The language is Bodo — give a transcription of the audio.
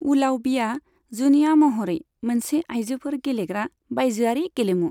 ऊलावबीआ जुनिया महरै मोनसे आयजोफोर गेलेग्रा बायजोआरि गेलेमु।